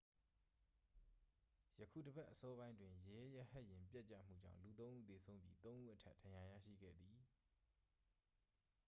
ယခုတစ်ပတ် အစောပိုင်းတွင် ရဲရဟတ်ယာဉ် ပျက်ကျမှုကြောင့် လူသုံးဦးသေဆုံးပြီး သုံးဦးအထက် ဒဏ်ရာ ရရှိခဲ့သည်